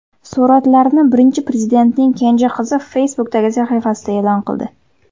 Suratlarni Birinchi Prezidentning kenja qizi Facebook’dagi sahifasida e’lon qildi.